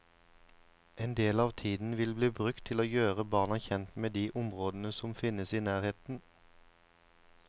En del av tiden vil bli brukt til å gjøre barna kjent med de områdene som finnes i nærheten.